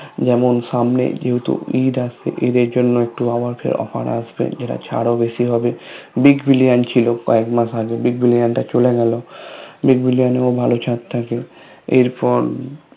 যেমন সামনে যেহেতু ঈদ আসছে ঈদ এর জন্য একটু আবার ফের Offer আসবে এরা ছাড় ও বেশি হবে Big Billion ছিল কয়েকমাস আগে Big Billion টা চলে গেলো Big Billion এও ভালো ছাড় থাকে এরপর